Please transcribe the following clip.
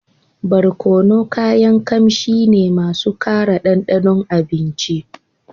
Barkono kayan kamshi ne masu kara dandanon abinci